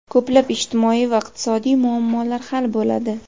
ko‘plab ijtimoiy va iqtisodiy muammolar hal bo‘ladi.